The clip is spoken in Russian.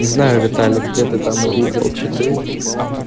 не знаю виталик где ты там увидел читы